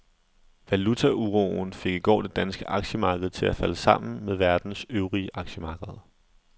Valutauroen fik i går det danske aktiemarked til at falde sammen med verdens øvrige aktiemarkeder.